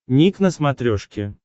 ник на смотрешке